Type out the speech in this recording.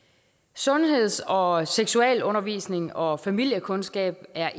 sundheds og og seksualundervisning og og familiekundskab er